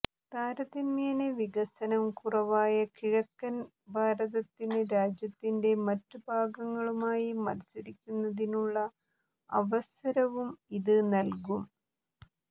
താരതമ്യേന വികസനം കുറവായ കിഴക്കന് ഭാരതത്തിന് രാജ്യത്തിന്റെ മറ്റ് ഭാഗങ്ങളുമായി മത്സരിക്കുന്നതിനുള്ള അവസരവും ഇത് നല്കും